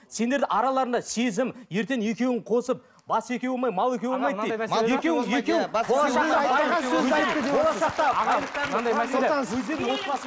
сендердің араларыңда сезім ертең екеуің қосып бас екеу болмай мал екеу болмайды дейді